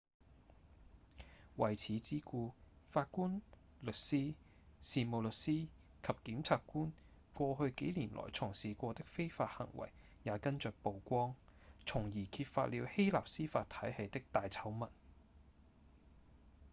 為此之故法官、律師、事務律師及檢察官過去幾年來從事過的非法行為也跟著曝光從而揭發了希臘司法體系的大醜聞